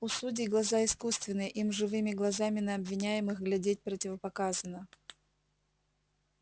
у судей глаза искусственные им живыми глазами на обвиняемых глядеть противопоказано